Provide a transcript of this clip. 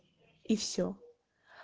и все